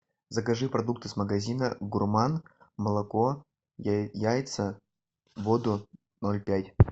закажи продукты с магазина гурман молоко яйца воду ноль пять